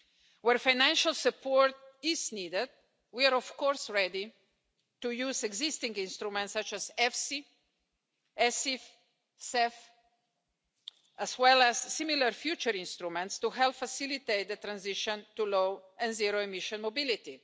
Where financial support is needed we are ready to use existing instruments such as EFSI, ESIF, CEF, as well as similar future instruments to help facilitate the transition to low and zero emission mobility.